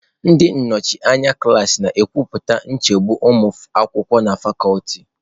Ndị nnọchi anya klaasị na-ekwupụta nchegbu ụmụ akwụkwọ na fakuti.